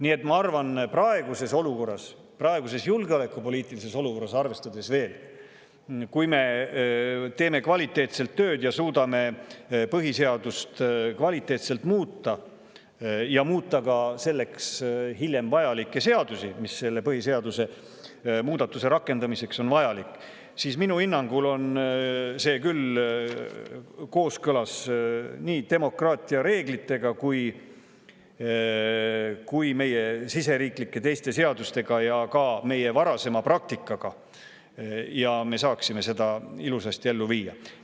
Nii et ma arvan – võttes arvesse ka praegust olukorda, praegust julgeolekupoliitilist olukorda –, et kui me teeme kvaliteetselt tööd ja suudame põhiseadust kvaliteetselt muuta ja muuta ka hiljem neid seadusi, mis selle põhiseadusemuudatuse rakendamiseks vajalikud on, on see kooskõlas nii demokraatia reeglitega, meie riigi teiste seadustega kui ka meie varasema praktikaga ja me saaksime selle ilusasti ellu viia.